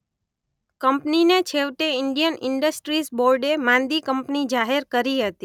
કંપનીને છેવટે Indian industries બોર્ડે માંદી કંપની જાહેર કરી હતી.